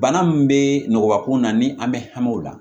Bana min bɛ nɔgɔya kun na ni an bɛ hami o la